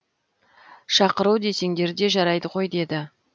шақыру десеңдер де жарайды ғой деді